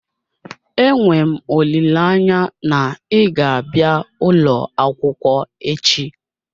Enwe m olileanya na ị ga-abịa ụlọ akwụkwọ echi